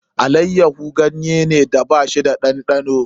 Allayyaho ganyeda ba shi da ɗanɗano